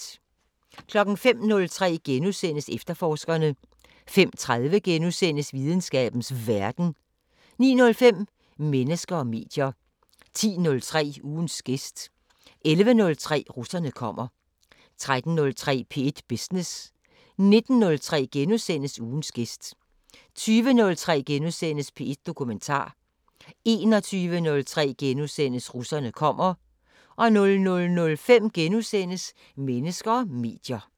05:03: Efterforskerne * 05:30: Videnskabens Verden * 09:05: Mennesker og medier 10:03: Ugens gæst 11:03: Russerne kommer 13:03: P1 Business 19:03: Ugens gæst * 20:03: P1 Dokumentar * 21:03: Russerne kommer * 00:05: Mennesker og medier *